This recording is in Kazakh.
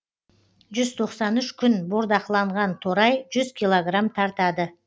жүз тоқсан үш күн бордақыланған торай жүз килограмм тартады